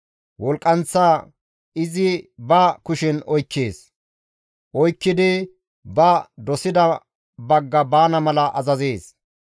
Wolqqanththa izi ba kushen oykkees; oykkidi ba dosida bagga baana mala azazees.